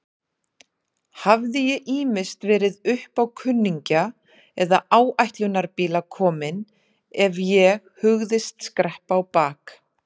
Hafði ég ýmist verið uppá kunningja eða áætlunarbíla kominn ef ég hugðist skreppa á bak.